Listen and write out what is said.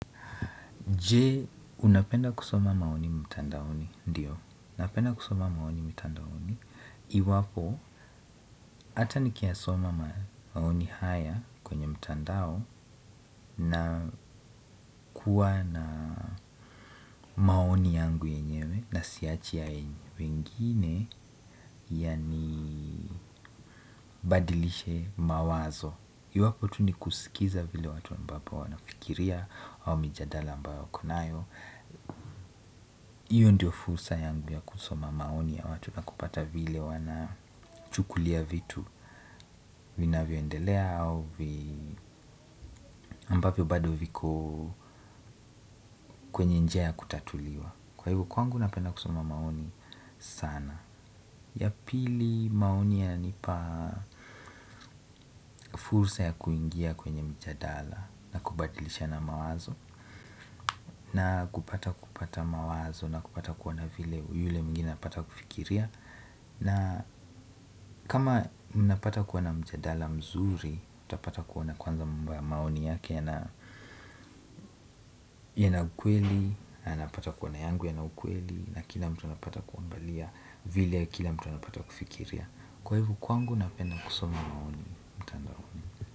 Je, unapenda kusoma maoni mtandaoni? Ndio napenda kusoma maoni mitandaoni. Iwapo, hata nikiyasoma maoni haya kwenye mtandao na kuwa na maoni yangu yenyewe na siachi haya yenye. Wengine, yanibadilishe mawazo. Iwapo, tu ni kusikiza vile watu ambapo wanafikiria au mijadala ambayo wako nayo. Hiyo ndio fursa yangu ya kusoma maoni ya watu na kupata vile wanachukulia vitu vinavyoendelea au ambavyo bado viko kwenye njia ya kutatuliwa kwa hivo kwangu napenda kusoma maoni sana ya pili maoni yananipa fursa ya kuingia kwenye mjadala na kubadilishana mawazo na kupata kupata mawazo na kupata kuona vile yule mwingine anapata kufikiria na kama mnapata kuwa na mjadala mzuri utapata kuona kwanza mambo ya maoni yake yana ukweli, anapata kuona yangu yana ukweli na kila mtu anapata kuangalia vile kila mtu anapata kufikiria kwa hivo kwangu napenda kusoma maoni mtandaoni.